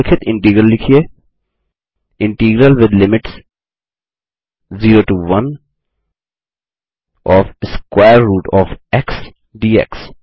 निम्लिखित integral लिखिए integral with limits 0 to 1 OF square root OF x dx